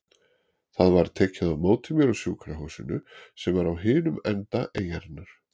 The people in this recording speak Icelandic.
Það var tekið á móti mér á sjúkrahúsinu sem var á hinum enda eyjunnar.